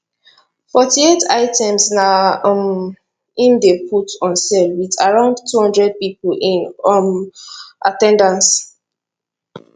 forty eight items na um im dem put on sale with around 200 people in um at ten dance